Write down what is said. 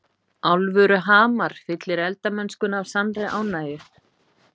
Alvöru hamar fyllir eldamennskuna af sannri ánægju.